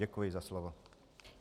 Děkuji za slovo.